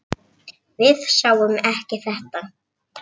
Við sáum ekki þetta!